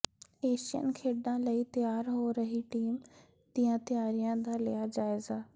Asian ਖੇਡਾਂ ਲਈ ਤਿਆਰ ਹੋ ਰਹੀ ਟੀਮ ਦੀਆਂ ਤਿਆਰੀਆਂ ਦਾ ਲਿਆ ਜਾਇਜ਼ਾ